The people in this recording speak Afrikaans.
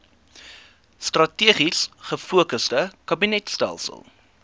strategies gefokusde kabinetstelsel